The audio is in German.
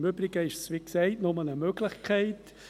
Im Übrigen ist es, wie gesagt, nur eine Möglichkeit.